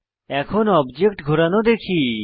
এখন অবজেক্ট ঘোরানো দেখি